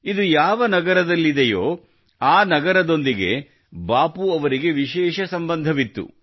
ಇದು ಯಾವ ನಗರದಲ್ಲಿದೆಯೋ ಆ ನಗರದೊಂದಿಗೆ ಬಾಪೂ ಅವರ ವಿಶೇಷ ಸಂಬಂಧವಿತ್ತು